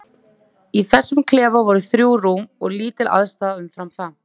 Í þessum klefa voru þrjú rúm og lítil aðstaða umfram það.